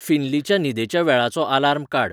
फिन्लीच्या न्हिदेच्या वेळाचो आलार्म काड